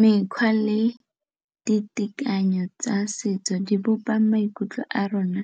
Mekgwa le ditekanyetso tsa setso di bopa maikutlo a rona